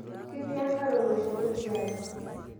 Ketii nkare eloshoro tiari